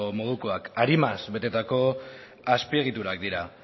modukoak arimaz betetako azpiegiturak dira